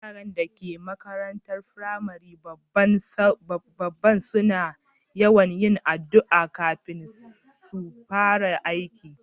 Yarann da ke makarantan firamarin babban Saura na yawan yin addu'a kafin su fara aiki.